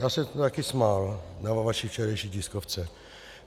Já jsem se také smál na vaší včerejší tiskovce.